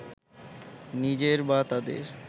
নিজের বা তাঁদের